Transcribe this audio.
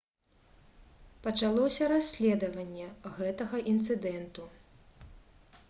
пачалося расследаванне гэтага інцыдэнту